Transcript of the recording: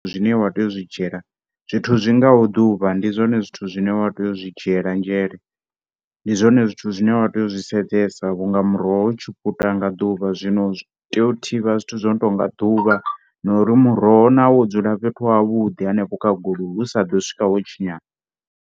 Zwine wa tea u zwi dzhiela zwithu zwi ngaho ḓuvha ndi zwone zwithu zwine wa tea u zwi dzhiela nzhele ndi zwoṅe zwithu zwine wa tea u zwi sedzesa vhunga muroho u tshi puta nga ḓuvha zwino u tea u thivha zwithu zwono tou nga ḓuvha na uri muroho nawo wo dzula fhethu ha vhuḓi hanefho kha goloi u sa ḓo swika wo tshinyala.